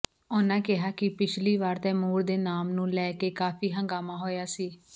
ਉਨ੍ਹਾਂ ਕਿਹਾ ਕਿ ਪਿਛਲੀ ਵਾਰ ਤੈਮੂਰ ਦੇ ਨਾਮ ਨੂੰ ਲੈ ਕੇ ਕਾਫੀ ਹੰਗਾਮਾ ਹੋਇਆ ਸੀ